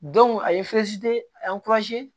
a ye a ye